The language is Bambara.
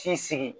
K'i sigi